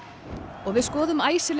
og við skoðum